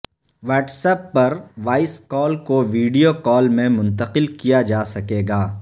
what's app پر voice call کو video call میں منتقل کیا جا سکے گا